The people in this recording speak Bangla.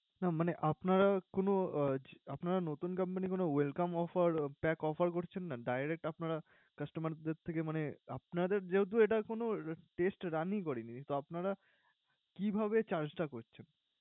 না মানে আপনারা কোন আহ আপনারা নতুন company কোন welcome offer pack offer করছেন না? Direct আপনারা customer দের থেকে মানে আপনাদের যেহেতু এটা কোন test run ই করেনি, তো আপনারা কিভাবে charge টা করছেন?